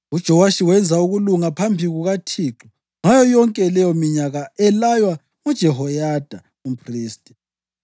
UJowashi wenza ukulunga phambi kukaThixo ngayo yonke leyominyaka elaywa nguJehoyada umphristi.